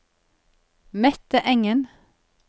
Mette Engen